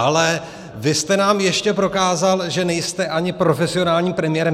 Ale vy jste nám ještě prokázal, že nejste ani profesionálním premiérem.